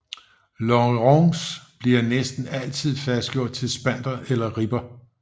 Longerons bliver næsten altid fastgjort til spanter eller ribber